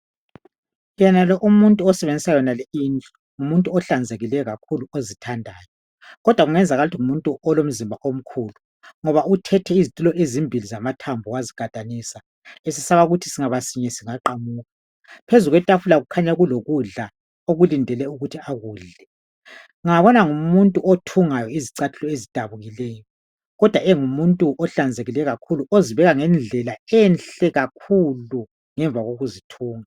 Yena lowu umuntu osebenzisa lindlu kukhanya ngumuntu olomzimba omkhulu ,lokhu kubonakala ngezitulo ezimbili azigadanisileyo ,ubonakala ngumuntu othunga izicathulo ezidabukileyo ezinengi.